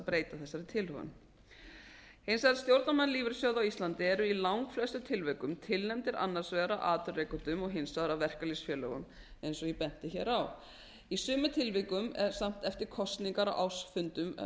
breyta þessari tilhögun hins vegar eru stjórnarmenn lífeyrissjóða á íslandi í langflestum tilvikum tilnefndir annars vegar af atvinnurekendum og hins vegar af verkalýðsfélögum eins og ég benti hér á í sumum tilvikum samt eftir kosningar á ársfundum verkalýðsfélaga